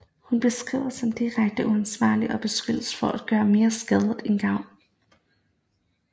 Hun beskrives som direkte uansvarlig og beskyldes for at gøre mere skade end gavn